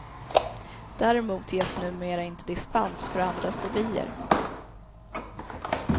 Däremot ges numera inte dispens för andra fobier.